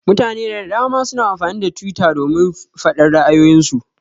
Mutane da dama suna amfani da twitter domin faɗar ra'ayoyin su.